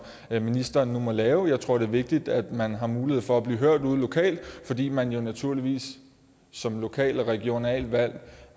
ministeren nu må lave jeg tror det er vigtigt at man har mulighed for at blive hørt ude lokalt fordi man jo naturligvis som lokalt og regionalt valgt